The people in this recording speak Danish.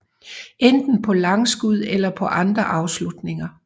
Enten på langskud eller på andre afslutninger